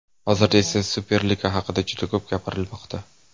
Hozirda esa Superliga haqida juda ko‘p gapirilmoqda.